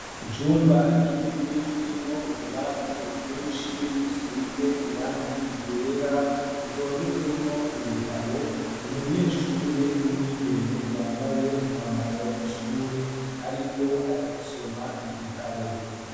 Icumba kinini kirimwo utubati twinshi dusize irangi ryera dutondetsemwo ibitabo, umunyeshure w'umwigeme yambaye umwambaro w'ishure ariko aragisoma igitabo.